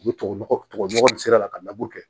U bɛ tubabu nɔgɔ tubabu nɔgɔ nin sira la ka laburu kɛ